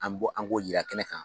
An me bɔ an k'o yira kɛnɛ kan